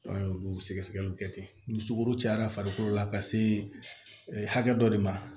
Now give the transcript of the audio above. olu sɛgɛsɛgɛliw kɛ ten ni sukoro cayara farikolo la ka se hakɛ dɔ de ma